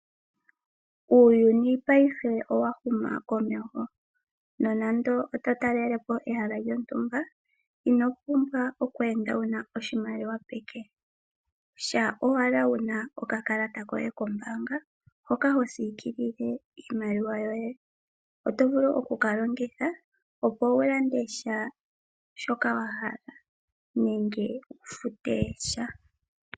Uuyuni payife owahuma komeho nonando oto talelepo ehala lyontumba inopumbw oku enda wuna oshimaliwa peke, shampa owala wuna okakalata koye kombaanga hoka ho siikilile iimaliwa yoye . Otovulu oku kalongitha opo wulande shaashoka wahala nenge wufute sha.